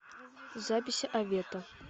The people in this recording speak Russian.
запись авета